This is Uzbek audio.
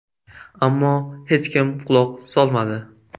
Ammo hech kim quloq solmadi.